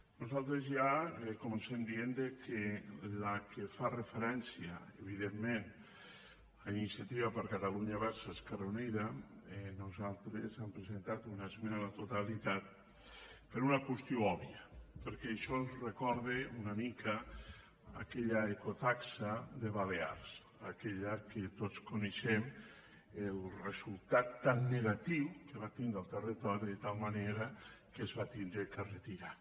nosaltres ja comencem dient que a la que fa referència evidentment a iniciativa per catalunya verds esquerra unida nosaltres hem presentat una esmena a la totalitat per una qüestió òbvia perquè això ens recorde una mica a aquella ecotaxa de les balears aquella que tots en coneixem el resultat tan negatiu que va tindre al territori de tal manera que es va haver de retirar